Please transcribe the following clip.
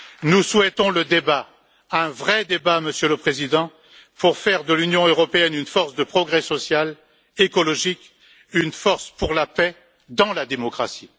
Nous souhaitons le débat, un vrai débat, Monsieur le Président, pour faire de l'Union européenne une force de progrès social, écologique, une force pour la paix dans la démocratie.